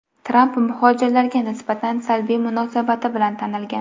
Tramp muhojirlarga nisbatan salbiy munosabati bilan tanilgan.